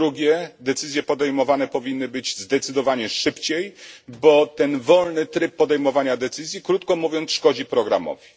Po drugie, decyzje powinny być podejmowane zdecydowanie szybciej, bo ten wolny tryb podejmowania decyzji, krótko mówiąc, szkodzi programowi.